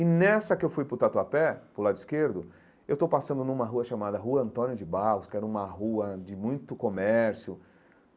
E nessa que eu fui para o Tatuapé, para o lado esquerdo, eu estou passando numa rua chamada Rua Antônio de Barros, que era uma rua de muito comércio.